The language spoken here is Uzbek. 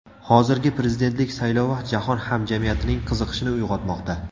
Hozirgi prezidentlik saylovi jahon hamjamiyatining qiziqishini uyg‘otmoqda.